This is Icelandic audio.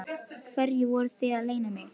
Hverju voruð þið að leyna mig?